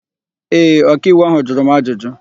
Ee, ọkaiwu áhụ̀ jụrụ m ajụjụ.